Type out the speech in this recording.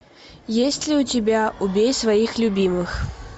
есть ли у тебя убей своих любимых